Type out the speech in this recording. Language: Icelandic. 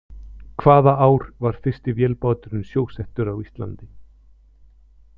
Hvaða ár var fyrsti vélbáturinn sjósettur á Íslandi?